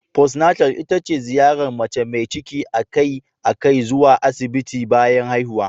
Postnatal ita ce ziyarar mace mai ciki a kai a kai zuwa Asibiti bayan haihuwa.